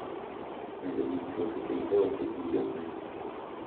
Medo winjruok e kind joot e kind jokanyo.